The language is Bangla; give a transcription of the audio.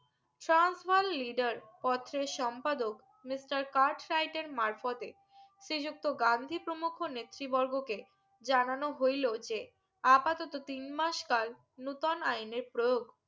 সহন্স বল leader পত্রের সম্পাদক মিস্টার কাসফ্রাইডে মারফতে শ্রী যুক্ত গান্ধী পমুখো নেত্রী বর্গকে যানানো হইলো যে আপাতত তিন মাস কাল নতুন আইনের প্রয়োগ